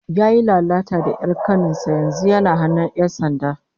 Yayi lalata da 'yar kanin sa, yanzu yana hannun 'yan sanda